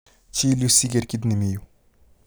Chil yu siger kit ne mi yu